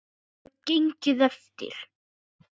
Hefur það gengið eftir?